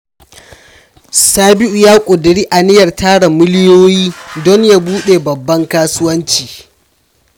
Sabiu ya kuduri aniyar tara miliyoyi don ya bude babban kasuwanci.